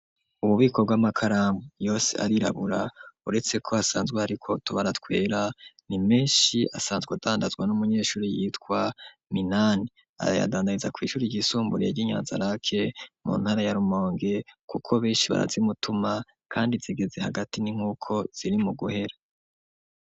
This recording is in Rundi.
Ububiko bw'amakaramu yose arirabura uretse ko hasanzwe, ariko tuba aratwera ni menshi asanzwe adandazwa n'umunyeshuri yitwa minani arayadandariza kw'ishuri ryisumburiy ry'inyanza lake mu ntara yarumonge, kuko benshi barazimutuma, kandi zigeze hagati ni nk'uko ziri mu guhera.